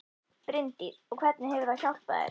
Bryndís: Og hvernig hefur það hjálpað þér?